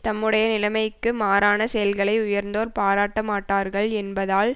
தம்முடைய நிலைமைக்கு மாறான செயல்களை உயர்ந்தோர் பாராட்டமாட்டார்கள் என்பதால்